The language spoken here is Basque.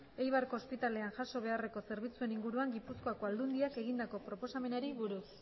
eibarko ospitalean jaso beharreko zerbitzuen inguruan gipuzkoako aldundiak egindako proposamenari buruz